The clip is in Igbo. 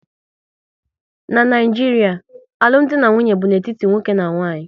N'Naijiria, alụmdi na nwunye bụ n'etiti nwoke na nwaanyị